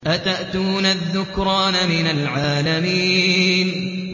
أَتَأْتُونَ الذُّكْرَانَ مِنَ الْعَالَمِينَ